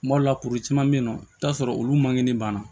Kuma dɔw la kuru caman be yen nɔ i bi t'a sɔrɔ olu man kɛni banna